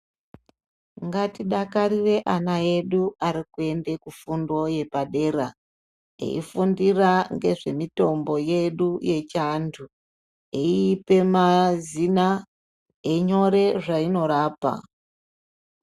Ngatidakarire ana edu arikuenda kufundo yepadera eifundira ngezvemitombo yedu yechiantu eipa mazina einyora zvainorapa.